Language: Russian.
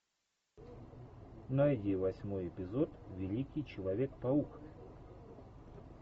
найди восьмой эпизод великий человек паук